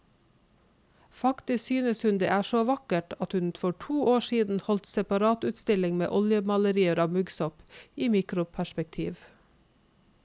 Faktisk synes hun det er så vakkert at hun for to år siden holdt separatutstilling med oljemalerier av muggsopp i mikroperspektiv.